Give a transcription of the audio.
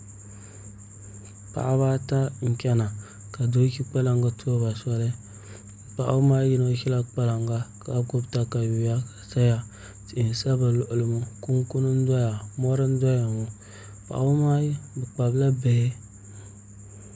Paɣaba ata n chɛna ka doo ʒi kpalaŋ n tuɣuba soli paɣaba maa yino ʒila kpalaŋa ka gbubi katawiya ʒɛya tihi n sa bi luɣuli ŋo kunkuni n doya mori n doya ŋo paɣa ŋo maa bi kpabila bihi